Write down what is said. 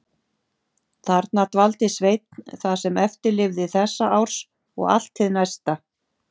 Þarna dvaldi Sveinn það sem eftir lifði þessa árs og allt hið næsta.